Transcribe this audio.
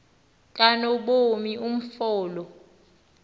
kanobomi umfo lo